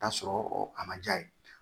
Taa sɔrɔ a ma diya ye